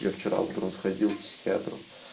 я вчера утром сходила к психиатру